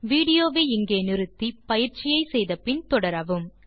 video வை நிறுத்தி பயிற்சியை முடித்த பின் தொடரவும்